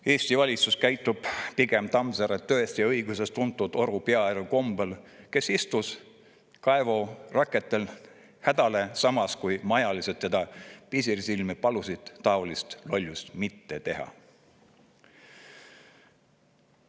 Eesti valitsus käitub pigem Tammsaare "Tõest ja õigusest" tuntud Oru Pearu kombel, kes istus kaevuraketele hädale, samas kui majalised teda pisarsilmi palusid taolist lollust mitte teha.